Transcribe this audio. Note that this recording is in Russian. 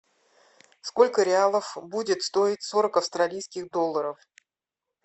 сколько реалов будет стоить сорок австралийских долларов